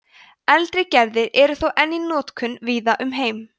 eldri gerðir eru þó enn í notkun víða um heim